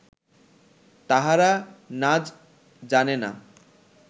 তাহারা নাজ জানে না